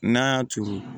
N'a y'a turu